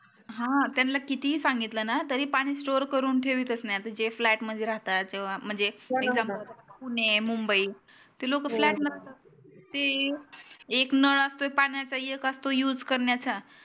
हा त्याला कितीही सांगितल ना तरी पानी store करून ठेवीतच नाही आता जे flat मध्ये राहतात महणजे पुणे मुंबई ते लोक flat एक नळ असतो पाण्याचा एक असतो use करण्याचा